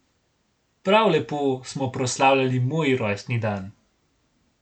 Prav lepo smo proslavljali moj rojstni dan.